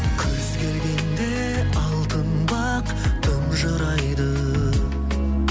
күз келгенде алтын бақ тұнжырайды